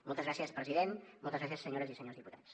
moltes gràcies president moltes gràcies senyores i senyors diputats